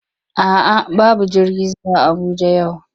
A'a babu jirgi zuwa Abuja yau,